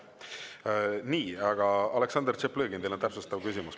Nii, aga Aleksandr Tšaplõgin, teil on täpsustav küsimus.